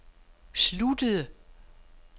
sluttede